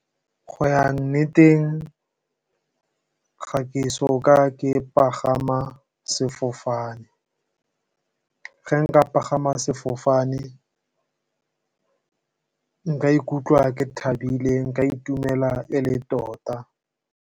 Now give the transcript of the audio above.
Go ya nneteng ga ke so ka ke pagama sefofane, ge nka pagama sefofane nka ikutlwa ke thabile nka itumela e le tota.